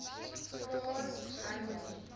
plaas harmonie